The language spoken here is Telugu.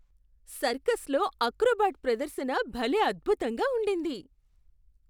సర్కస్లో అక్రోబాట్ ప్రదర్శన భలే అద్భుతంగా ఉండింది!